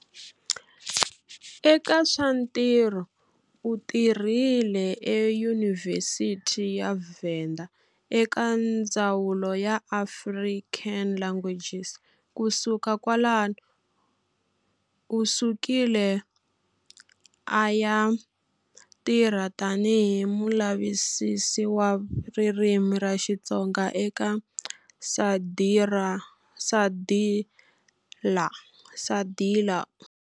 Eka swa ntirho u tirhile eyunivhesiti ya Venda eka ndzawulo ya African languages, ku suka kwalanu u sukile a ya tirha tani hi mulavisisi wa ririmi ra Xitsonga eka SADiLaR.